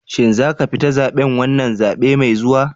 Shin za ka fita zaben wannan zabe mai zuwa?